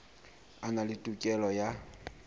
a na le tokelo ya